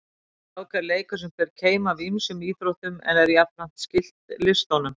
Skák er leikur sem ber keim af ýmsum íþróttum en er jafnframt skyld listunum.